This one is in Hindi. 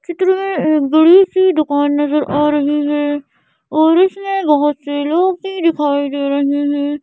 चित्र में एक बड़ी सी दुकान नजर आ रही है और इसमें बहुत से लोग की दिखाई दे रहे हैं।